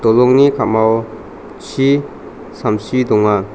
dolongni ka·mao chi samsi donga.